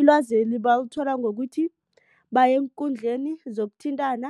Ilwazeli balithola ngokuthi baye eenkundleni zokuthintana.